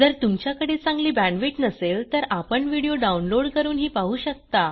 जर तुमच्याकडे चांगली बॅण्डविड्थ नसेल तर आपण व्हिडिओ डाउनलोड करूनही पाहू शकता